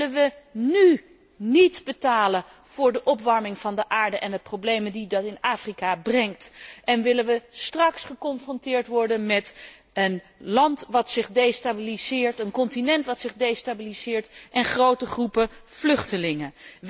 Willen we nú niet betalen voor de opwarming van de aarde en de problemen die dat in Afrika brengt en willen we straks geconfronteerd worden met een land dat destabiliseert, een continent dat destabiliseert, en grote groepen vluchtelingen?